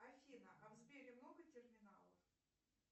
афина а в сбере много терминалов